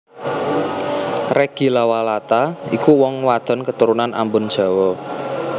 Reggy Lawalata iku wong wadon keturunan Ambon Jawa